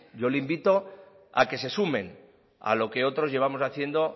yo le invito a que se sumen a lo que otros llevamos haciendo